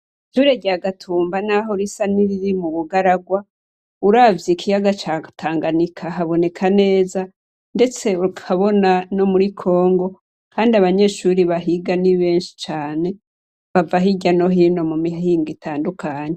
Ishure rya Gatumba naho risa niriri mu bugaragwa, uravye ikiyaga ca Tanganyika haboneka neza, ndetse ukabona no muri Congo kandi abanyeshure bahiga ni benshi cane. Bava hirya no hino mu mihingo itandukanye.